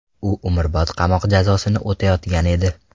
U umrbod qamoq jazosini o‘tayotgan edi.